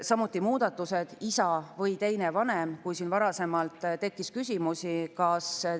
Varasemalt oli sõnastus ebaselge ja võis, kas 50. eluaasta vältel on kunstlik viljastamine lubatav või mitte.